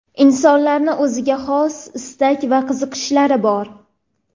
Insonlarning o‘ziga xos istak va qiziqishlari bor.